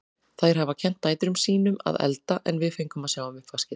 Þær hafa kennt dætrum sín um að elda en við fengum að sjá um uppvaskið.